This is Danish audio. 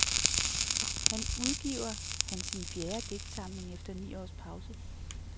Han udgiver han sin fjerde digtsamling efter ni års pause.